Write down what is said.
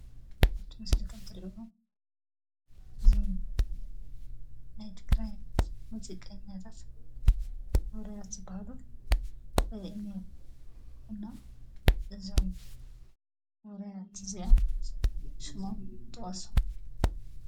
ኣብቲ ምስሊ ከምትሪእዎ እዞም ናይ ትግራይ ሙዚቀኛታት ውሩያት ዝባሃሉ የሪአና ኣሎ፡፡ እና እዞም ውሩያት እዚኦም ሽሞም ጥቐሱ፡፡